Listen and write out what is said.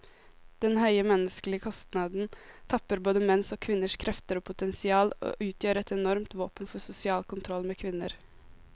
Denne høye menneskelige kostnaden tapper både menns og kvinners krefter og potensial, og utgjør et enormt våpen for sosial kontroll med kvinner.